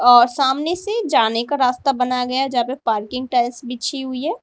और सामने से जाने का रास्ता बनाया गया जहां पे पार्किंग टाइल्स बिछी हुई है।